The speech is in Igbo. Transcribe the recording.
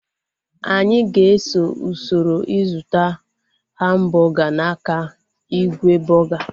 Anyị ga-eso usoro ịzụta hambọga n'aka igwe bọga